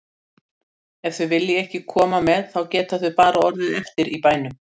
Ef þau vilja ekki koma með þá geta þau bara orðið eftir í bænum.